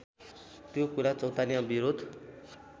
त्यो कुरा चौतारीमा विरोध